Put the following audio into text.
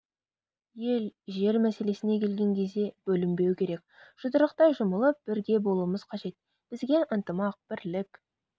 ел жер мәселесіне келген кезде бөлінбеу керек жұдырықтай жұмылып бірге болуымыз қажет бізге ынтымақ бірлік